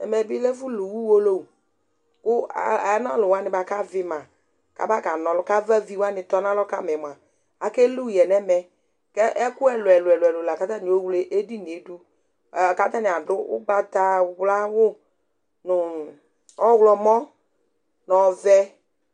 ɛmɛɓi ɛfωlω ωwõlọwωɲi ku ɑvimɑ ɑbkɑŋɔlu kɑvlɑviwɑŋi tɔɲɑlɔ kɑmɑɛ mωɑ ɑkɛlωɛyɛ ɲɛmékɛ ɛkuɛ luɛluɛlω kɑtɑɲiovlɛ ɛɗiŋiɛɗω kɑtɑɲiɑ ɖω ωgbɑtɑwlɑ wω ɲu ɔhlɔmoɲɔvẽ